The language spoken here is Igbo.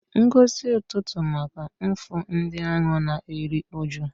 Ngọzi ụtụtụ maka mfu ndị ahụ na-eru uju.